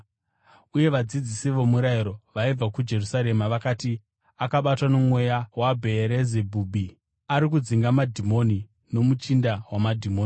Uye vadzidzisi vomurayiro vaibva kuJerusarema vakati, “Akabatwa nomweya waBheerizebhubhi! Ari kudzinga madhimoni nomuchinda wamadhimoni.”